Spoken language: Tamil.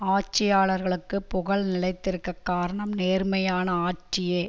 ஆட்சியாளர்க்குப் புகழ் நிலைத்திருக்க காரணம் நேர்மையான ஆட்சியே